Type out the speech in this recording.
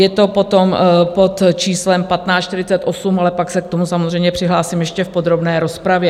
Je to potom pod číslem 1548, ale pak se k tomu samozřejmě přihlásím ještě v podrobné rozpravě.